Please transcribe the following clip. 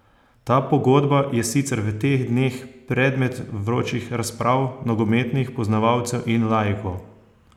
Ta pogodba je sicer v teh dneh predmet vročih razprav nogometnih poznavalcev in laikov.